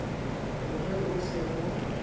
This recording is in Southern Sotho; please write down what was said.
ho re ho se ho